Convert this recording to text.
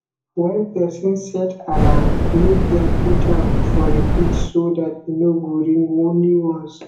when person set alarm make dem put am for repeat so dat e no go ring only ones